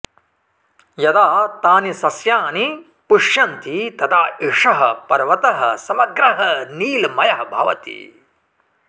यदा तानि सस्यानि पुष्प्यन्ति तदा एषः पर्वतः समग्रः नीलमयः भवति